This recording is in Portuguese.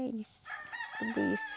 É isso, tudo isso.